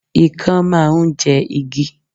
Ikán máà ń jẹ igi